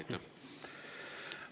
Ma saan aru, et istungit ei ole pikendatud.